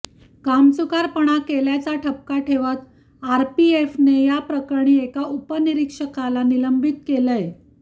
कामचुकारपणा केल्याचा ठपका ठेवत आरपीएफने या प्रकरणी एका उपनिरीक्षकाला निलंबित केलंय